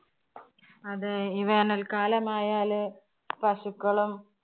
അതെ ഈ വേനല്‍ക്കാലമായല് പശുക്കളും,